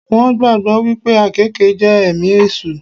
Wón gbàgbọ́ wípé àkéèke jẹ́ èmi èṣù